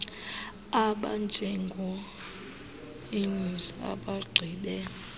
abanjengo eunice abagqibe